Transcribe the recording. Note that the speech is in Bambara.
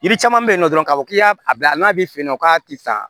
Yiri caman bɛ yen nɔ dɔrɔn k'a fɔ k'i y'a bila n'a bɛ fɛ nɔ k'a tɛ sa